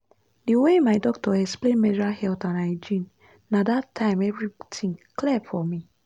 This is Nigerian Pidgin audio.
the way my doctor explain menstrual health and hygiene na that time everything clear for me.